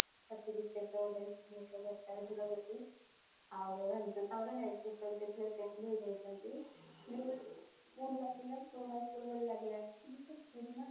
certificate ଗୋଟେ ଦରକାର ଥିଲା ଗୋଟେ ଦିନ ଆଉ ଏମିତି ତାଙ୍କର ନୂଆ ନୂଆ ଭଳି ଲାଗିଲା ପୁରୁଣା school ଭଳି ଲାଗିଲାନି